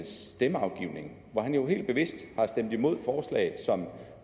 stemmeafgivning jo helt bevidst har stemt imod forslag som